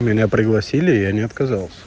меня пригласили я не отказался